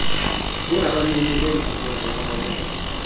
zingabanini beenkqubo zobonelelo